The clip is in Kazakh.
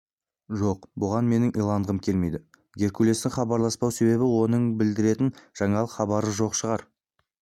жоқ бұған менің иланғым келмейді геркулестің хабарласпау себебі оның білдіретін жаңалық хабары жоқ шығар